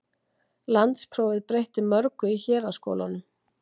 Landsprófið breytti mörgu í héraðsskólunum.